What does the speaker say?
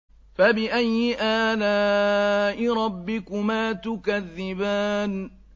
فَبِأَيِّ آلَاءِ رَبِّكُمَا تُكَذِّبَانِ